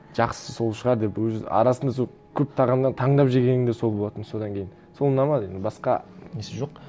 жақсысы сол шығар деп өз арасында сол көп тағамнан таңдап жегенім де сол болатын содан кейін сол ұнамады енді басқа несі жоқ